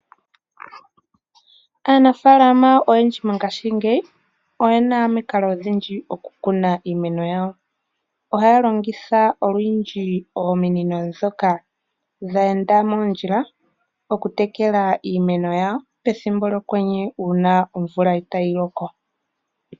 Aanafaalama oyendji ngashingeyi oyena omikalo odhindji dhokukuna iimeno yawo. Ohaa longitha olundji ominino ndhoka dheenda mondjila okutekela iimeno pethimbo lyokwenye uuna omvula itaa yi loko.